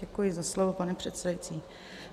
Děkuji za slovo, pane předsedající.